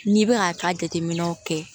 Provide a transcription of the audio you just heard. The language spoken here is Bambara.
N'i bɛ ka ka jateminɛw kɛ